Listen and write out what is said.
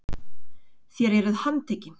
Þér eruð handtekinn!